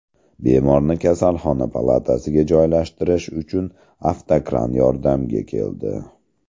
Bemorni kasalxona palatasiga joylashtirish uchun avtokran yordamga keldi.